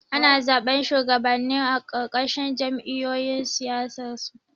Ana zaɓar shuwagabanni a ƙarƙashin jam'iyyun siyasarsu